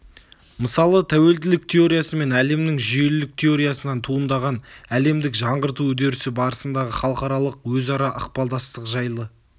мысалы тәуелділік теориясы мен әлемнің жүйелілік теориясынан туындаған әлемдік жаңғырту үдерісі барысындағы халықаралық өзара ықпалдастық жайлы